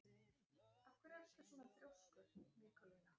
Af hverju ertu svona þrjóskur, Nikólína?